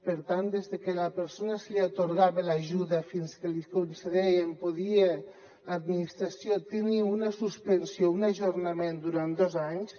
per tant des de que a la persona se li atorgava l’ajuda fins que li concedien l’administració tenia una suspensió un ajornament durant dos anys